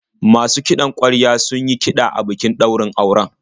Masu kiɗan ƙwarya sun yi kiɗa a bikin daurin auren.